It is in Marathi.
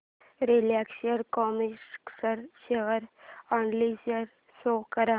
Reliance Chemotex share analysis show कर